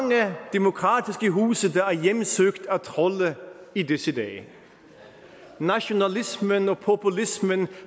demokratiske huse der er hjemsøgt af trolde i disse dage nationalismen og populismen